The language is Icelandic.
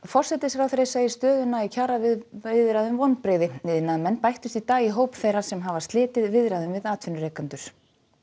forsætisráðherra segir stöðuna í kjaraviðræðum vonbrigði iðnaðarmenn bættust í dag í hóp þeirra sem hafa slitið viðræðum við atvinnurekendur